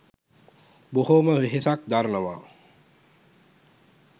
බොහොම වෙහෙසක් දරනවා